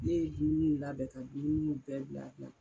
Ne ye dumuniw labɛn ka dumuni bɛɛ bila bila.